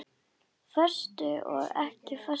Föstu og ekki föstu.